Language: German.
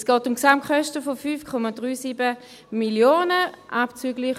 Es geht um Gesamtkosten von 5,37 Mio. Franken.